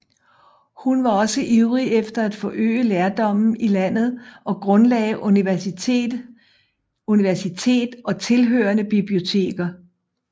Hun var også ivrig efter at forøge lærdommen i landet og grundlagde universitet og tilhørende biblioteker